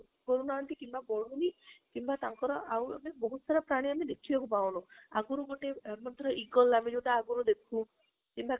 କରୁ ନାହାନ୍ତି କିମ୍ବା ବାଡ଼ୁନି କିମ୍ବା ତାଙ୍କର ଆଉ ମାନେ ବହୁତ ସାରା ପ୍ରାଣୀ ଆମେ ଦେଖିବାକୁ ପାଉନୁ ଆଗରୁ ଗୋଟେ eagle ଆମେ ଯୋଉଟା ଆଗରୁ ଦେଖୁଥିଲୁ କିମ୍ବା